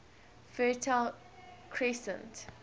fertile crescent